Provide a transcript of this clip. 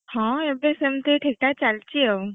ହଁ ଏବେ ସେମିତି ଚାଲିଛି ଠିକ୍ ଠାକ ଆଉ।